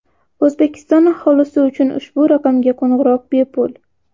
O‘zbekiston aholisi uchun ushbu raqamga qo‘ng‘iroq bepul.